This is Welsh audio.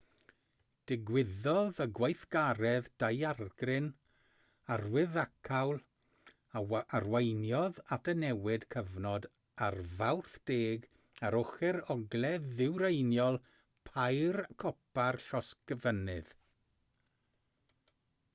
digwyddodd y gweithgaredd daeargryn arwyddocaol a arweiniodd at y newid cyfnod ar fawrth 10 ar ochr ogledd-ddwyreiniol pair copa'r llosgfynydd